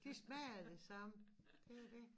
De smager af de samme det jo dét